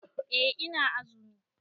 Eh ina azumi.